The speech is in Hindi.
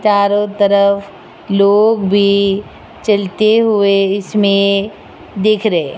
चारों तरफ लोग भी चलते हुए इसमें दिख रहे--